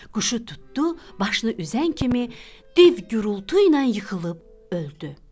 Quşu tutdu, başını üzən kimi div gurultu ilə yıxılıb öldü.